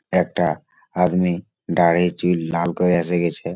একটা আদমি দাড়িটি লাল করে রেখেছে।